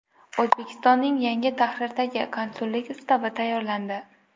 O‘zbekistonning yangi tahrirdagi Konsullik ustavi tayyorlandi.